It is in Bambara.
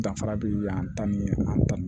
Danfara bɛ yan ta ni an ta ma